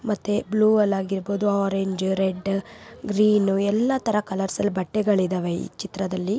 ಮತ್ತೆ ಬ್ಲ್ಯೂ ಅಲ್ಲಿ ಆಗಿರಬಹುದು ಆರೆಂಜ್ ರೆಡ್ ಗ್ರೀನ್ ಎಲ್ಲ ತರ ಕಲರ್ಸ್ ಅಲ್ಲಿ ಬಟ್ಟೆಗಳು ಇದವೆ ಈ ಚಿತ್ರದಲ್ಲಿ.